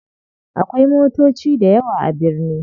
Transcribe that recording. Akwai motoci dayawa a birni.